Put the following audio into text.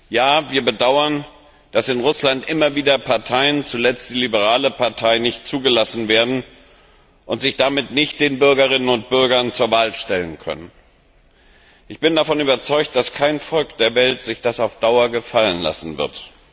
Ja, wir bedauern, dass in Russland immer wieder Parteien, zuletzt die liberale Partei, nicht zugelassen werden und sich damit nicht den Bürgerinnen und Bürgern zur Wahl stellen können. Ich bin davon überzeugt, dass kein Volk der Welt sich das auf Dauer gefallen lassen wird.